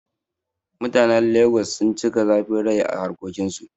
Mutanen Lagos sun cika zafin rai a harƙokin su